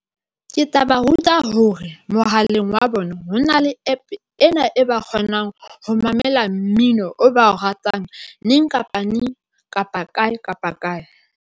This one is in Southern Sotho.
Ke tla ba ruta hore mohaleng wa bona hona le APP ena e ba kgonang ho mamela mmino o ba o ratang, neng kapa neng, kapa kae kapa kae.